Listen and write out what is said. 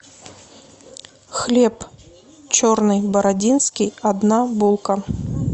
хлеб черный бородинский одна булка